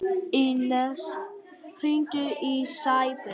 Ínes, hringdu í Sæberg.